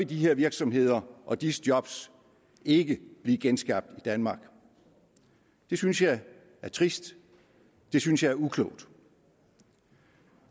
de her virksomheder og disse job ikke blive genskabt i danmark det synes jeg er trist det synes jeg er uklogt